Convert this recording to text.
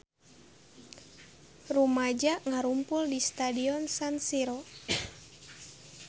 Rumaja ngarumpul di Stadion San Siro